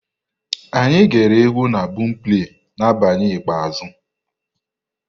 Anyị ghere egwu na bọọmpleị n'abalị ikpeazụ.